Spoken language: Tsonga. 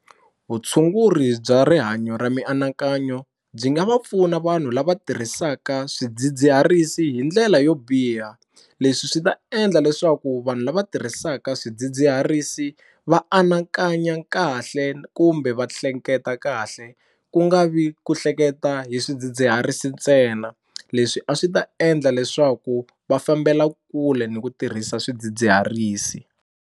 Vutshunguri bya rihanyo ra mianakanyo byi nga va pfuna vanhu lava tirhisaka swidzidziharisi hi ndlela yo biha leswi swi ta endla leswaku vanhu lava tirhisaka swidzidziharisi va anakanya kahle kumbe va hleketa kahle ku nga vi ku hleketa hi swidzidziharisi ntsena leswi a swi ta endla leswaku va fambela kule ni ku tirhisa swidzidziharisi.